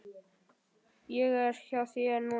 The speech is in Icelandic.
Ég er hjá þér núna.